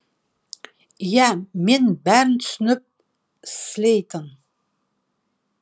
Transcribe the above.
иә мен бәрін түсініп слейтон